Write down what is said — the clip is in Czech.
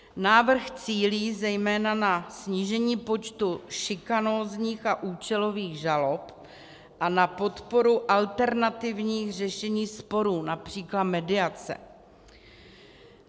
Návrh cílí zejména na snížení počtu šikanózních a účelových žalob a na podporu alternativních řešení sporů, například mediace.